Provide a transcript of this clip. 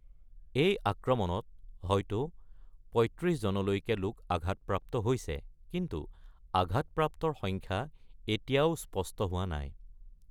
এই আক্ৰমণত হয়তো পঁয়ত্ৰিশজনলৈকে আঘাতপ্ৰাপ্ত হৈছে, কিন্তু আঘাতপ্ৰাপ্তৰ সংখ্যা এতিয়াও স্পষ্ট হোৱা নাই।